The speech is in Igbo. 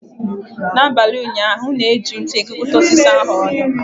N’abalị ụnyaahụ, m na-eji ntu kekọta osisi ahu ọnụ.